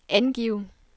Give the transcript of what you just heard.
angiv